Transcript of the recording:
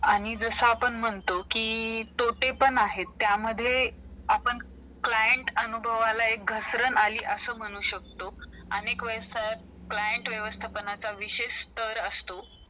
serial बंद करून नवीन serial आणण्याचा प्रयत्न केला आपल्याला picture चच बघायचं असेल तर भिकारी picture सगळ्यांनीच बघितला असेल तो एक श्रीमंत मुलगा अं त्याच्या आईसाठी कसले सगळे प्रयत्न सगळे सगळ्या प्रकारचे doctor